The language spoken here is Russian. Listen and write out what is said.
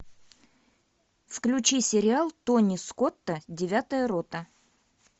включи сериал тони скотта девятая рота